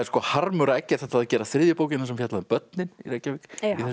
harmur að Eggert ætlaði að gera þriðju bókina sem fjallaði um börnin í Reykjavík í þessum